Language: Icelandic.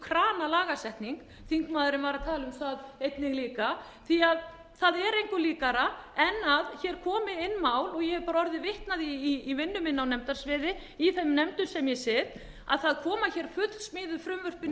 kranalagasetning þingmaðurinn var einnig að tala um það líka því það er engu líkara en hér komi inn mál og ég hef orðið vitni að því í vinnu minni á nefndasviði í þeim nefndum sem ég sit að það koma fullsmíðuð frumvörp inn í